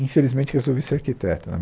Infelizmente, resolvi ser arquiteto né.